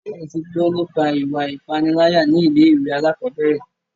Ṣé o tí gbọ́ nípa ìwà ipániláyà ní ilé ìwé alákọ̀berẹ̀?